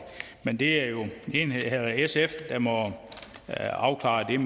men det er jo sf der må afklare